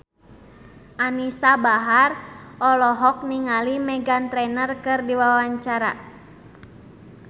Anisa Bahar olohok ningali Meghan Trainor keur diwawancara